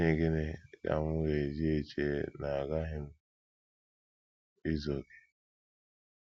N’ihi Gịnị Ka M Ji Eche na Aghaghị M Izu Okè?